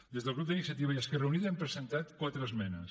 des del grup d’iniciativa i esquerra unida hem presentat quatre esmenes